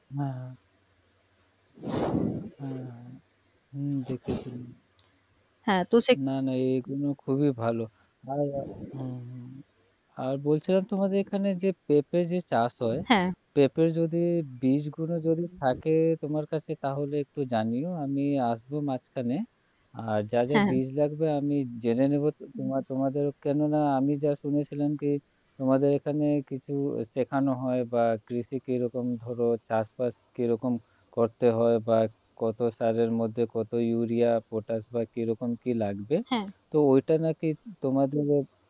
তোমাদের এখানে কিছু শেখানো হয় বা কৃষি কিরকম হলো বা চাষবাস কিরকম করতে হয় বা কত সালের মধ্যে কত Urea পটাস বা কিরকম কী লাগবে হ্যাঁ তো ওটা নাকি তোমাদের